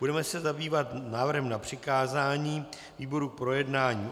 Budeme se zabývat návrhem na přikázání výboru k projednání.